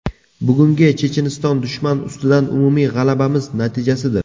Bugungi Checheniston dushman ustidan umumiy g‘alabamiz natijasidir.